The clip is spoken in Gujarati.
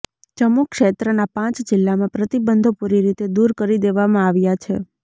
જમ્મુ ક્ષેત્રના પાંચ જિલ્લામાં પ્રતિબંધો પૂરી રીતે દૂર કરી દેવામાં આવ્યા છે